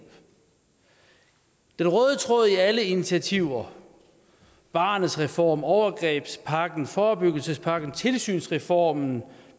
den røde tråd i alle initiativer barnets reform overgrebspakken forebyggelsespakken tilsynsreformen for